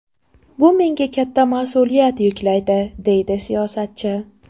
Bu menga katta mas’uliyat yuklaydi”, deydi siyosatchi.